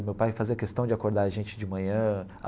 Meu pai fazia questão de acordar a gente de manhã.